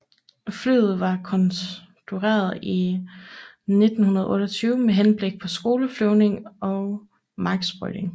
Flyet var konstrueret i 1928 med henblik på skoleflyvning og marksprøjtning